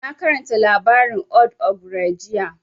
Na karanta labarin old ogre jiya